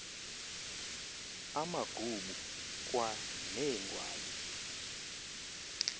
amagubu kwa neengwali